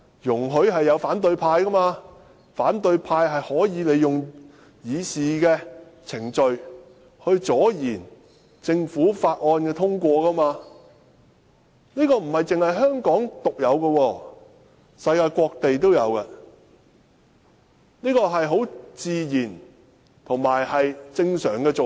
容許反對派利用議事程序阻延政府法案的通過，並非香港獨有，世界各地也有，這是很自然及正常的做法。